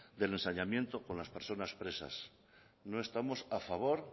del ensañamiento con las personas presas no estamos a favor